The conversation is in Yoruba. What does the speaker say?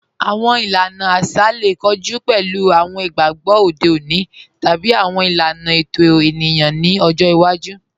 Awọn ìlàna àṣà lè kọ̀jù pẹ̀lú awọn ìgbàgbọ̀ òde ọ̀nì tàbí awọn ìlàna ẹ̀tọ̀ ènìyàn nì ọ̀jọ́ ìwàjú.